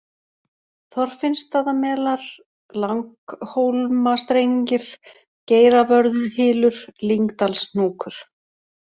Þorfinnstaðamelar, Langhólmastrengir, Geiravörðuhylur, Lyngdalshnúkur